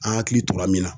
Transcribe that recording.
An hakili tora min na